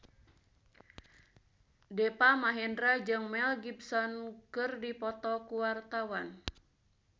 Deva Mahendra jeung Mel Gibson keur dipoto ku wartawan